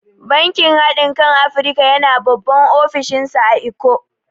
Bankin hadin kan Afrika yana babban ofishinsa a Ikko.